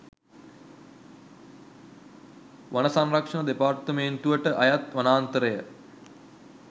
වන සංරක්‍ෂණ දෙපාර්තමේන්තුවට අයත් වනාන්තරය